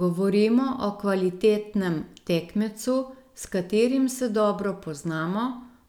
Govorimo o kvalitetnem tekmecu, s katerim se dobro poznamo,